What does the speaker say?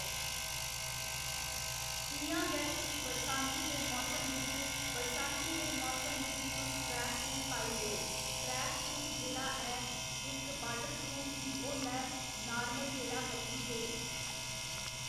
इ'यां गै तुस बरसांती दे मौसम बिच बरसांती दे मौसम बिच तुस ट्रैक सूट पाई लेओ ट्रैक सूज जेह्ड़ा ऐ इक्क वाटर प्रूफ बी होंदा ऐ नार्मल जेह्ड़ा पतली जेही